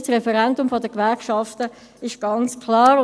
Das Referendum ist seitens der Gewerkschaften ganz klar.